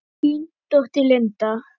Þín dóttir, Linda.